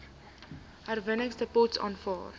herwinningsdepots aanvaar